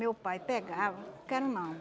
Meu pai pegava... Quero, não.